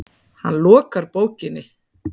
Hann lokar bókinni.